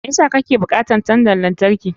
Me yasa kake bukatar tandan lantarki?